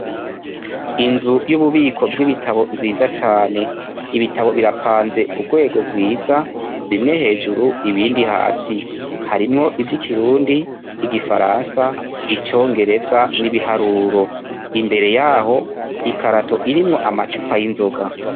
Inzu y'ububiko bw'ibitabo nziza cane, ibitabo birapanze ku rwego rwiza bimwe hejuru ibindi hasi, harimwo ivy'ikirundi ,igifaransa ,icongereza n'ibiharuro, imbere yaho ikarato irimwo amacupa y'inzoga.